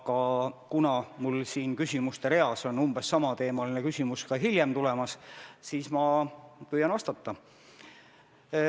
Aga kuna mul siin küsimuste reas on umbes samateemaline küsimus ka hiljem tulemas, siis ma püüan vastata.